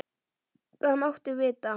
Það máttu vita.